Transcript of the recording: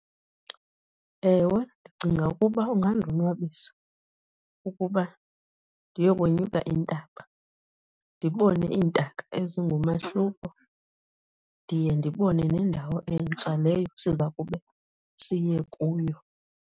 Ewe ndicinga ukuba ungandonwabisa ukuba ndiyokonyuka intaba ndibone iintaka ezingumahluko, ndiye ndibone nendawo entsha leyo siza kube siye kuyo.